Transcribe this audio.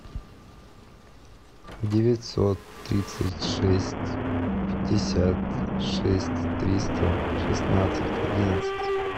девятьсот тридцать шесть пятьдесят шесть триста шестнадцать одиннадцать